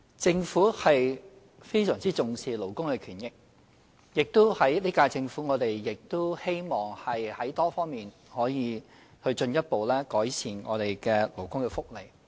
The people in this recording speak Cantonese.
政府非常重視勞工權益，這屆政府亦希望在多方面進一步改善勞工福利。